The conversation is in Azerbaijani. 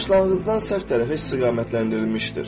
Başlanğıcdan səhv tərəfə istiqamətləndirilmişdir.